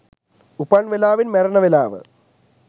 උපන් වෙලාවෙන් මැරෙන වෙලාව